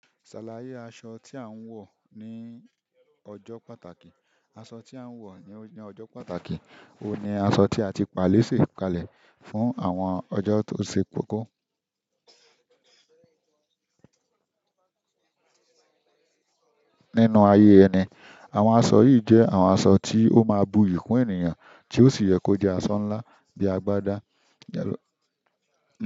Ṣàlàyé aṣọ tí à ń wọ̀ ní ọjọ́ pàtàkì. Aṣọ tí à ń wọ̀ ní ọjọ́ pàtàkì oun ní aṣọ tí a ti pàlese kalẹ̀ fún àwọn ọjọ́ tó ṣe kókó. Nínú ayé ẹni, àwọn aṣọ yìí jẹ́ àwọn aṣọ tí ó máa bui yi kún ènìyàn tí ó sì yẹ kó jẹ́ aṣọ ńlá bíi agbádá.